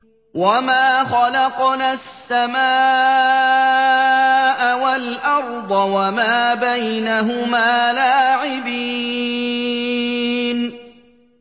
وَمَا خَلَقْنَا السَّمَاءَ وَالْأَرْضَ وَمَا بَيْنَهُمَا لَاعِبِينَ